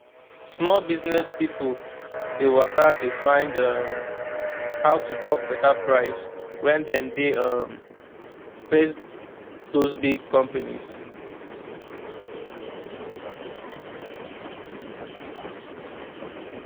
small business pipo dey waka dey find um how to talk better price when dem dey um face those big companies